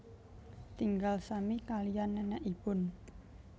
Tinggal sami kaliyan nenekipun